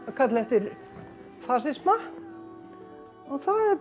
kalla eftir fasisma og það